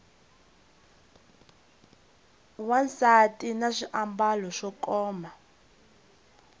wansati na swiambalo swo koma